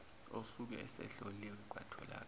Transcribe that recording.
osuke esehloliwe kwatholakala